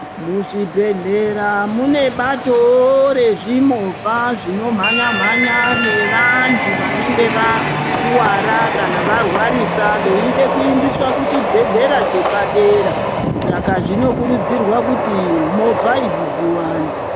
Muzvibhedhlera mune batowo rezvimovha zvinomhanya-mhanya nevantu vanenge vakuvara kana varwarisa veide kuindiswa kuchibhedhlera chepadera. Saka zvinokurudzirwa kuti movha idzi dziwande.